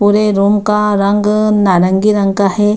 पुरे रूम का रंग नारंगी रंग का है।